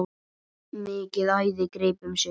Mikið æði greip um sig.